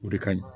O de ka ɲi